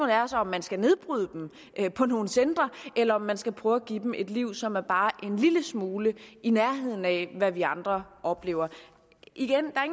er så om man skal nedbryde dem på nogle centre eller om man skal prøve at give dem et liv som er bare en lille smule i nærheden af hvad vi andre oplever igen er